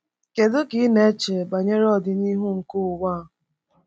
Kedu ka ị na-eche banyere ọdịnihu nke ụwa a?